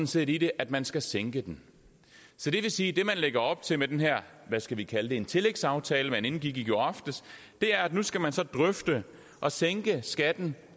set i det at man skal sænke den så det vil sige at det man lægger op til med den her hvad skal vi kalde det tillægsaftale man indgik i går aftes er at nu skal man så drøfte at sænke skatten